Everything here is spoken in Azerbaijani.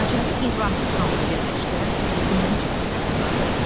Qacarı İbrahim xanla birləşdirən ümumi cəhətlər də vardı.